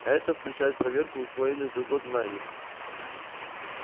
а это включает проверку усвоенных за год знаний